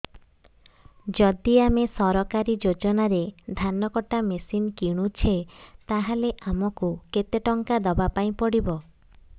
ଯଦି ଆମେ ସରକାରୀ ଯୋଜନାରେ ଧାନ କଟା ମେସିନ୍ କିଣୁଛେ ତାହାଲେ ଆମକୁ କେତେ ଟଙ୍କା ଦବାପାଇଁ ପଡିବ